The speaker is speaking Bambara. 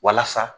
Walasa